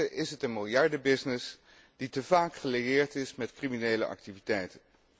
In wezen is het een miljardenbusiness die te vaak gelieerd is met criminele activiteiten.